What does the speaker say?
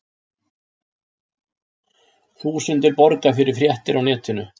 Þúsundir borga fyrir fréttir á netinu